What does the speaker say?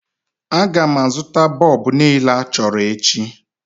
A ga-azụta bọlbụ niile achọrọ echi